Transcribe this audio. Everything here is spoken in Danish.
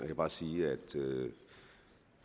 kan bare sige at